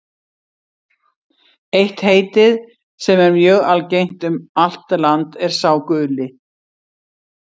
Eitt heitið, sem er mjög algengt um allt land, er sá guli.